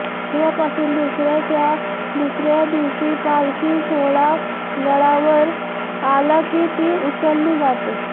तेव्हापासून दसऱ्याच्या दुसरऱ्या दिवशी पालखी सोहळा गडावर आला कि ती उचलली जाते